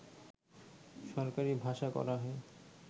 সরকারী ভাষা করা হয়